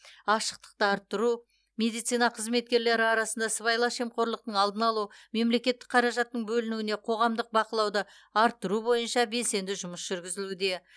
ашықтықты арттыру медицина қызметкерлері арасында сыбайлас жемқорлықтың алдын алу мемлекеттік қаражаттың бөлінуіне қоғамдық бақылауды арттыру бойынша белсенді жұмыс жүргізілуде